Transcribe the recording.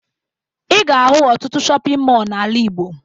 Ị ga-ahụ ọtụtụ shọpịn mọọ n'ala Igbo